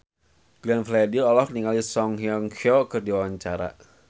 Glenn Fredly olohok ningali Song Hye Kyo keur diwawancara